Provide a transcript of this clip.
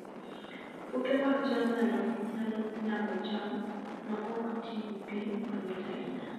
Puothe mag cham nyalo nyago cham ma ok ti gi pi mang'eny ahinya